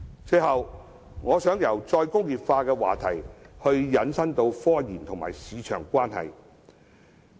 最後，我想由再工業化的話題引申至科研與市場的關係。